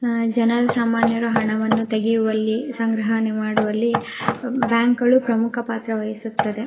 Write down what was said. ಹಂ ಜನರು ಸಾಮಾನ್ಯರು ಹಣವನ್ನು ತೆಗೆಯುವಲ್ಲಿ ಸಂಗ್ರಹಣೆ ಮಾಡುವಲ್ಲಿ ಬ್ಯಾಂಕ್ಗಳು ಪ್ರಮುಖ ಪಾತ್ರ ವಹಿಸುತ್ತದೆ.